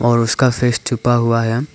और उसका फेस छुपा हुआ है।